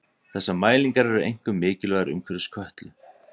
þessar mælingar eru einkum mikilvægar umhverfis kötlu